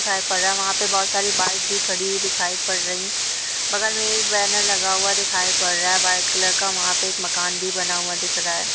दिखाई पड़ रहा है| वहां पर बहुत सारी बाइक भी खड़ी हुई दिखाई पड़ रही है| बगल में एक बैनर लगा हुआ दिखाई पड़ रहा है| व्हाइट कलर का वहां पर एक मकान भी बना हुआ दिख रहा है।